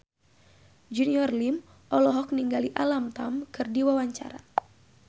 Junior Liem olohok ningali Alam Tam keur diwawancara